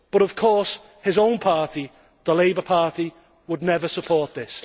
But of course his own party, the Labour Party, would never support this.